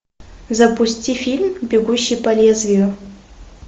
запусти фильм бегущий по лезвию